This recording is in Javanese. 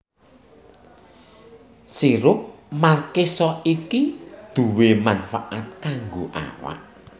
Sirup markisa iki duwè manfaat kanggo awak